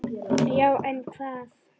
Já en hvað?